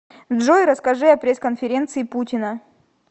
джой расскажи о пресс конференции путина